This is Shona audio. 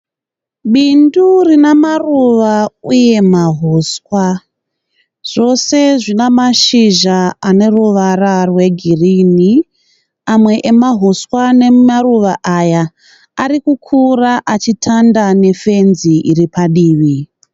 Bindu rina maruva uye mahuswa. Zvose zvina mashizha ane ruvara rwegirini. Amwe emahuswa ane maruva aya ari kukura achitanda nefenzi iri padivi.